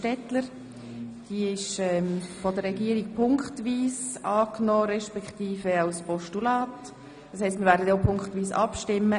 Die Motion wird von der Regierung punktweise als Motion beziehungsweise als Postulat angenommen.